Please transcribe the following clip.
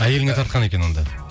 әйеліңе тартқан екен онда